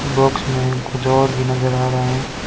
Box में कुछ और भी नजर आ रहे हैं।